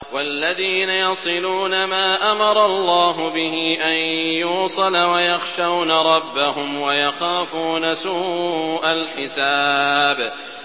وَالَّذِينَ يَصِلُونَ مَا أَمَرَ اللَّهُ بِهِ أَن يُوصَلَ وَيَخْشَوْنَ رَبَّهُمْ وَيَخَافُونَ سُوءَ الْحِسَابِ